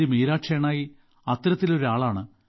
Meera Shenoy അത്തരത്തിലൊരാളാണ്